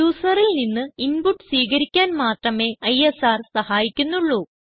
യൂസറിൽ നിന്ന് ഇൻപുട്ട് സ്വീകരിക്കാൻ മാത്രമേ isrന് സഹായിക്കുന്നുള്ളൂ